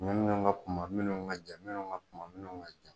Minnu ka kunba minnu ka jan minnu ka kunba minnu ka jan